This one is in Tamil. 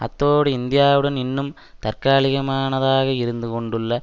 அத்தோடு இந்தியாவுடன் இன்னும் தற்காலிகமானதாக இருந்து கொண்டுள்ள